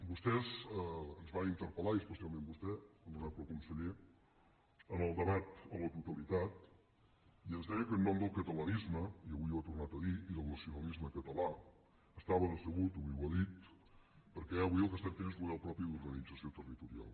vostès ens van interpel·lar i especialment vostè honorable conseller en el debat a la totalitat i ens deia que en nom del catalanisme i avui ho ha tornat a dir i del nacionalisme català estava decebut avui ho ha dit perquè avui el que estem fent és un model propi d’organització territorial